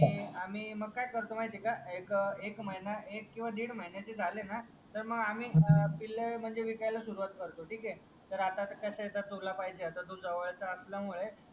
आणि आम्ही मग काय करतो माहीत आहे का एक एक महिना एक कीव दिढ महिन्याचे झाले ना तर मग आम्ही पिल विकायला सुरवात करतप ठीक आहे तर आता कस आहे तुला पाहिजे तू जवडचा असल्यामुडे